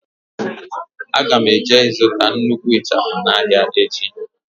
Aga m eje ịzụta nnukwu ịchafụ n'ahịa echi.